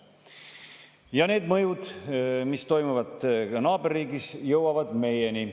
Ja selle mõjud, mis toimub naaberriigis, jõuavad ka meieni.